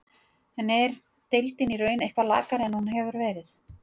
En er deildin í raun eitthvað lakari en hún hefur verið?